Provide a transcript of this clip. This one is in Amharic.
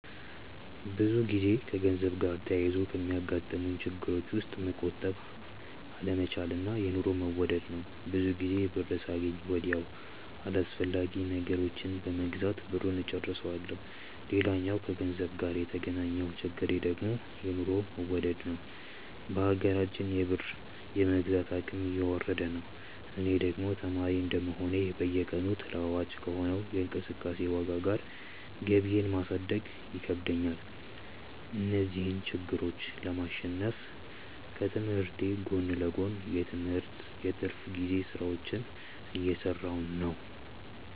ብዙ ጊዜ ከገንዘብ ጋር ተያይዞ ከሚያጋጥሙኝ ችግሮች ውስጥ መቆጠብ አለመቻል እና የኑሮ መወደድ ናቸው። ብዙ ጊዜ ብር ሳገኝ ወዲያው አላስፈላጊ ነገሮችን በመግዛት ብሩን እጨርሰዋለሁ። ሌላኛው ከገንዘብ ጋር የተገናኘው ችግሬ ደግሞ የኑሮ መወደድ ነዉ። በሀገራችን የብር የመግዛት አቅም እየወረደ ነው። እኔ ደግሞ ተማሪ እንደመሆኔ በየቀኑ ተለዋዋጭ ከሆነው የእቃዎች ዋጋ ጋር ገቢየን ማሳደግ ይከብደኛል። እነዚህን ችግሮች ለማሸነፍ ከትምህርቴ ጎን ለጎን የትርፍ ጊዜ ስራዎችን እየሰራሁ ነው።